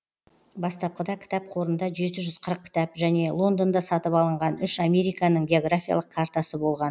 бастапқыда кітап қорында жеті жүз қырық кітап және лондонда сатып алынған үш американың географиялық картасы болған